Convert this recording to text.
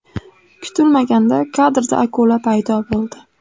Kutilmaganda kadrda akula paydo bo‘ldi.